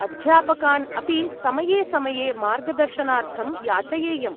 अध्यापकान् अपि समये समये मार्गदर्शनार्थं याचयेयम्।